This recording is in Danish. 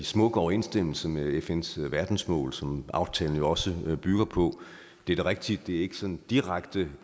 smuk overensstemmelse med fns verdensmål som aftalen jo også bygger på det er da rigtigt at det ikke sådan direkte